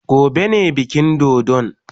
Gobe ne bikin dodon.